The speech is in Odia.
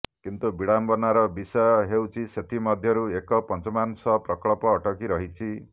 କିନ୍ତୁ ବିଡ଼ମ୍ବନାର ବିଷୟ ହେଉଛି ସେଥି ମଧ୍ୟରୁ ଏକ ପଞ୍ଚାମାଂଶ ପ୍ରକଳ୍ପ ଅଟକି ରହିଛି